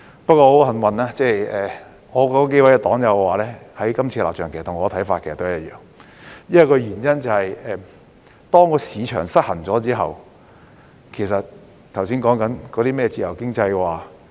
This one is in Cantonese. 不過，很幸運，我數位黨友的立場其實與我的看法一樣，原因是當市場失衡後，我們便不能再實行剛才提及的自由經濟。